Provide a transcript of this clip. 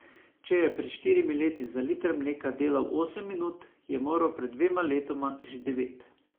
Če je pred štirimi leti za liter mleka delal osem minut, je moral pred dvema letoma že devet.